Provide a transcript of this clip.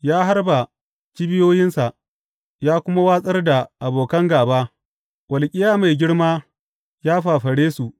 Ya harba kibiyoyinsa ya kuma watsar da abokan gāba, walƙiya mai girma ya fafare su.